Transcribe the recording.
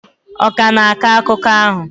ọ ka ga na-akọ akụkọ ahụ?